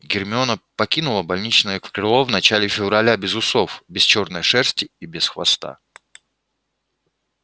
гермиона покинула больничное крыло в начале февраля без усов без чёрной шерсти и без хвоста